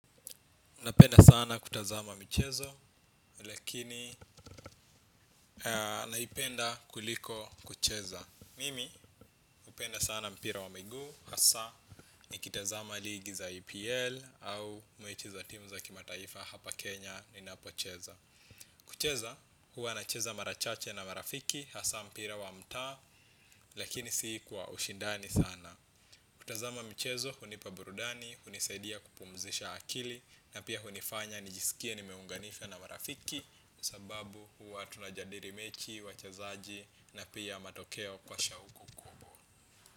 Napenda sana kutazama michezo lakini naipenda kuliko kucheza. Mimi hupenda sana mpira wa miguu hasa nikitazama ligi za EPL au mechi za timu za kimataifa hapa Kenya ninapocheza. Kucheza huwa nacheza mara chache na marafiki hasa mpira wa mtaa lakini si kwa ushindani sana. Kutazama mchezo hunipa burudani, hunisaidia kupumzisha akili na pia hunifanya nijisikie nimeunganishwa na marafiki. Sababu huwa tunajadili mechi, wachezaji na pia matokeo kwa shauku.